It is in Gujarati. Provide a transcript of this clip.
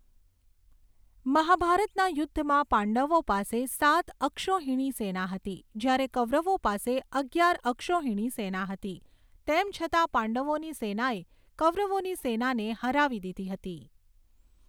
મહાભારતના યુદ્ધમાં પાંડવો પાસે સાત અક્ષૌહિણી સેના હતી જ્યારે કૌરવો પાસે અગિયાર અક્ષૌહિણી સેના હતી. તેમ છતાં પાંડવોની સેનાએ કૌરવોની સેનાને હરાવી દીધી હતી.